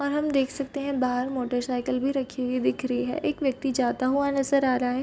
और हम देख सकते हैं बहार मोटर साइकिल भी रखी हुई दिख रही है एक व्यक्ति जाता हुआ नज़र आ रहा है।